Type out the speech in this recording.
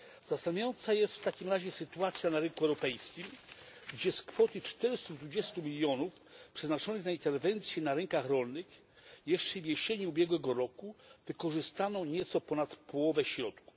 Zastanawiająca jest w takim razie sytuacja na rynku europejskim, gdzie z kwoty 420 mln przeznaczonych na interwencję na rynkach rolnych jeszcze jesienią ubiegłego roku wykorzystano nieco ponad połowę środków.